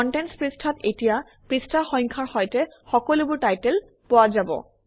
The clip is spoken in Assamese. কণ্টেণ্টছ পৃষ্ঠাত এতিয়া পৃষ্ঠা সংখ্যাৰ সৈতে সকলোবোৰ টাইটেল পোৱা যাব